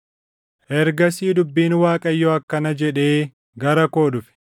Ergasii dubbiin Waaqayyoo akkana jedhee gara koo dhufe;